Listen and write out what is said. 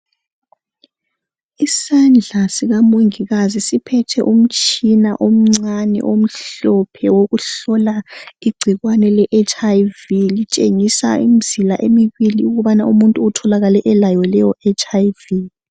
Isandla sikamongikazi siphethe umtshina omncane omhlophe wokuhlola igcikwane le HIV elitshengisa imizila emibili ukubana umuntu utholakale elayo leyo HIV